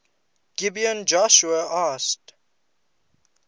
gibeon joshua asked